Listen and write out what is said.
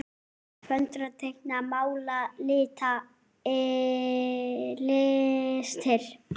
Föndra- teikna- mála- lita- listir